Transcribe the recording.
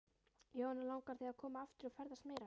Jóhanna: Langar þig að koma aftur og ferðast meira?